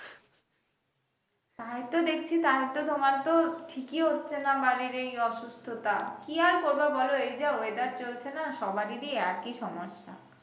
তাই তো দেখছি তাই তো তোমার তো ঠিক হচ্ছে না বাড়ির এই অসুস্থতা কি আর করবা বলো এই যা ওয়েদার চলছে না সব বাড়িরই একই সমস্যা?